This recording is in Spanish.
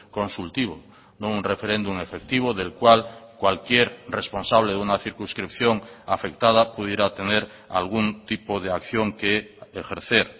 consultivo no un referéndum efectivo del cual cualquier responsable de una circunscripción afectada pudiera tener algún tipo de acción que ejercer